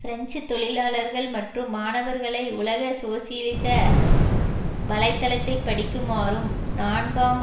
French தொழிலாளர்கள் மற்றும் மாணவர்களை உலக சோசியலிச வலை தளத்தை படிக்குமாறும் நான்காம்